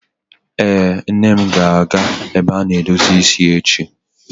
Ee, Nne m ga-abịa ebe a na-edozi isi echi.